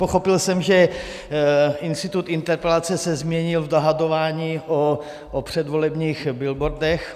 Pochopil jsem, že institut interpelací se změnil v dohadování o předvolebních billboardech.